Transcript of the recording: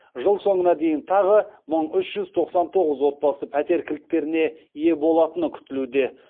жыл соңына дейін тағы мың үш жүз тоқсан тоғыз отбасы пәтер кілттеріне ие болатыны күтілуде